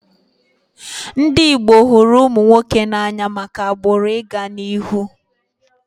Ndị Igbo hụrụ ụmụ nwoke n'anya maka agbụrụ ị ga n'ihu